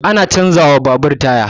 Ana canza wa babur taya